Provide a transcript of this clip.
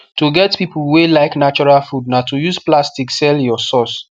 to get people wey like natural food na to use plastic sell your source